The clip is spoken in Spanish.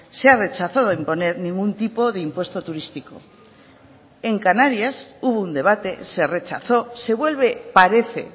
se ha rechazado en poner ningún tipo de impuesto turístico en canarias hubo un debate se rechazó se vuelve parece